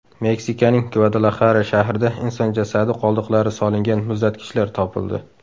Meksikaning Gvadalaxara shahrida inson jasadi qoldiqlari solingan muzlatgichlar topildi.